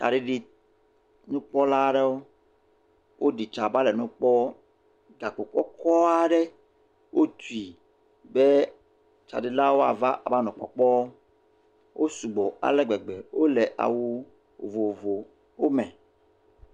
Tsaɖiɖinukpɔla aɖewo. Woɖi tsa va le nu kpɔm. Gkpo kɔkɔɔ aɖe, wotui be tsaɖilawo woava avanɔ kpɔkpɔɔ. Wo sugbɔ ale gbegbe. Wole awu vovovowo me.